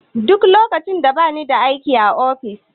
Duk lokacin da bani da aiki a ofis.